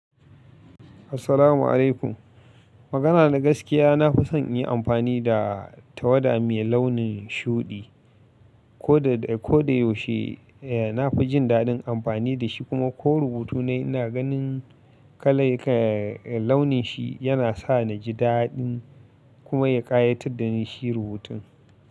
Assalamu alaikum. Magana na gaskiya, na fi son yin amfani da tawada mai launin shuɗi. Ko da, ko da yaushe, eh na fi jin daɗin amfani da shi kuma ko rubutuna ina ganin kala, launin shi yana sa ni ji daɗin kuma ya ƙayatar da ni shi rubutun.